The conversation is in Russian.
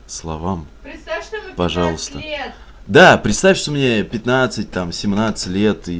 словам пожалуйста да представь что мне пятнадцать там семнадцать лет и